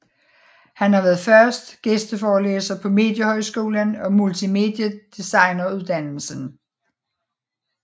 Han har været fast gæsteforelæser på Mediehøjskolen og Multimediedesigneruddannelsen